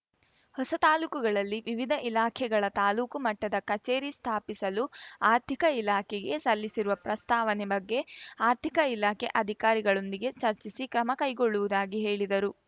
ಹೊಸ ತಾಲೂಕುಗಳಲ್ಲಿ ವಿವಿಧ ಇಲಾಖೆಗಳ ತಾಲೂಕು ಮಟ್ಟದ ಕಚೇರಿ ಸ್ಥಾಪಿಸಲು ಆರ್ಥಿಕ ಇಲಾಖೆಗೆ ಸಲ್ಲಿಸಿರುವ ಪ್ರಸ್ತಾವನೆ ಬಗ್ಗೆ ಆರ್ಥಿಕ ಇಲಾಖೆ ಅಧಿಕಾರಿಗಳೊಂದಿಗೆ ಚರ್ಚಿಸಿ ಕ್ರಮ ಕೈಗೊಳ್ಳುವುದಾಗಿ ಹೇಳಿದರು